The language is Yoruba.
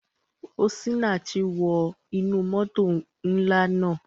Osinachi wọ inú moto nla naa.